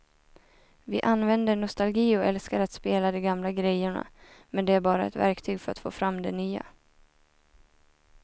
Vi använder nostalgi och älskar att spela de gamla grejerna men det är bara ett verktyg för att få fram det nya.